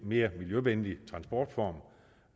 mere miljøvenlig transportform